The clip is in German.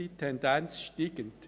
Die Tendenz ist steigend.